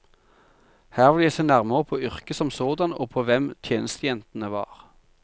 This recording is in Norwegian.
Her vil jeg se nærmere på yrket som sådan og på hvem tjenestejentene var.